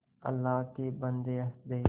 अल्लाह के बन्दे हंस दे